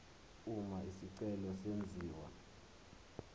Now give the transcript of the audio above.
uma isicelo senziwa